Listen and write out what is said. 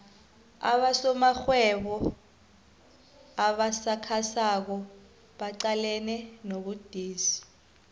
abosomarhwebo abasakhasako baqalene nobudisi